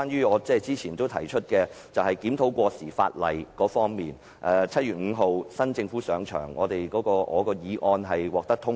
我曾提出檢討過時法例，新政府在7月5日上場後，我動議的議案獲得通過。